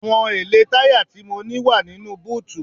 Àwọn èlé táyà tí mo ní wá nínú búùtì.